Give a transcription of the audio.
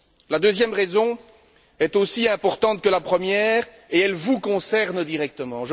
La deuxième raison est aussi importante que la première et elle vous concerne directement.